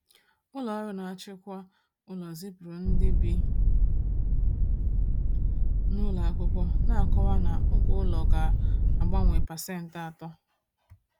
Ụlọ ọrụ na-achịkwa ụlọ zipụrụ ndị bi n’ụlọ akwụkwọ na-akọwa na ụgwọ ụlọ ga-abawanye pasent atọ.